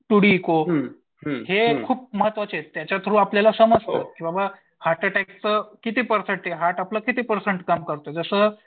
हे खूप महत्वाचे आहेत त्याच्या थ्रू आपल्याला समजतं की बाबा हार्ट अटॅकचं किती पर्सेंट आहे हार्ट आपलं किती पर्सेंट काम करतं जसं